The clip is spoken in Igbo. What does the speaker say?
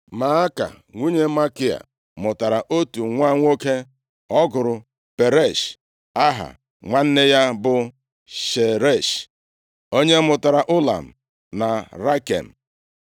Maaka nwunye Makia mụtara otu nwa nwoke ọ gụrụ Peresh. Aha nwanne ya bụ Sheresh, onye mụtara Ụlam na Rakem.